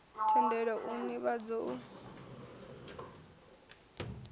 tendele u ea nivhadzo u